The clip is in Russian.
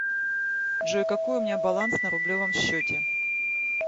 джой какой у меня баланс на рублевом счете